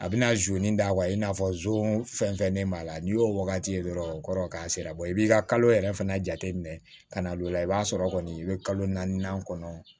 A bɛna da i n'a fɔ zon fɛnfɛn b'a la n'i y'o wagati ye dɔrɔn o kɔrɔ k'a sera i b'i ka kalo yɛrɛ fana jateminɛ ka na o la i b'a sɔrɔ kɔni i bɛ kalo naani kɔnɔ